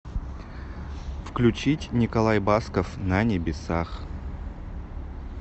включить николай басков на небесах